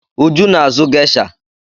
Uju na-azụ gesha.